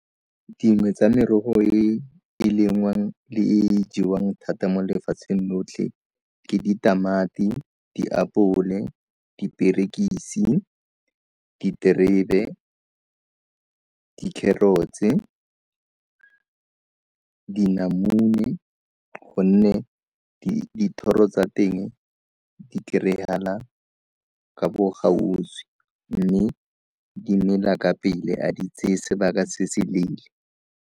Dingwe tsa merogo e e lengwang le e e jewang thata mo lefatsheng lotlhe ke ditamati, diapole, diperekisi, diterebe, dikgerotse, dinamune gonne dithoro tsa teng di kry-agala ka bo gauswi mme dimela ka pele a di tseye sebaka se se leele.